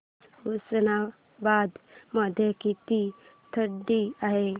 आज उस्मानाबाद मध्ये किती थंडी आहे